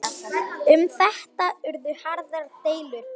Um þetta urðu harðar deilur.